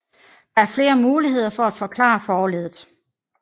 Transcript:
Der er flere muligheder for at forklare forleddet